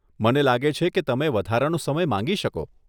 મને લાગે છે કે તમે વધારાનો સમય માંગી શકો.